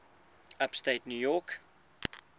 upstate new york